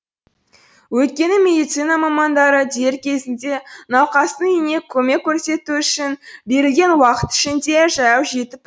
өйткені медицина мамандары дер кезінде науқастың үйіне көмек көрсету үшін берілген уақыт ішінде жаяу жетіп